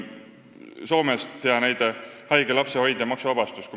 Hea näide Soomest: haige lapse hoidja maksuvabastus.